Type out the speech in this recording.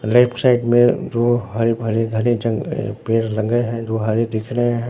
Left side में जो हरे भरे घने जंगल पेड़ लगे हैं जो हरे दिख रहे हैं।